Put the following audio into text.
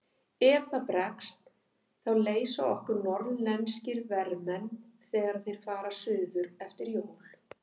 Ef það bregst þá leysa okkur norðlenskir vermenn þegar þeir fara suður eftir jól.